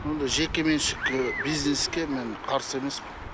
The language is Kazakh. мұндай жеке меншік ы бизнеске мен қарсы емеспін